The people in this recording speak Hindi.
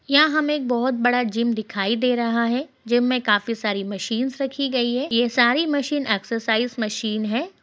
यहां हमे एक बहुत बड़ा जिम दिखाई दे रहा है। जिम में काफी सारी मशीनस रखी गई है। यह सारी मशीन एक्सरसाइस मशीन है।